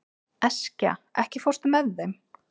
Eskja, ekki fórstu með þeim?